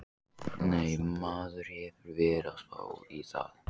Nei, maður hefur verið að spá í það.